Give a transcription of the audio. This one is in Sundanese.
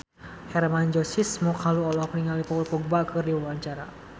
Hermann Josis Mokalu olohok ningali Paul Dogba keur diwawancara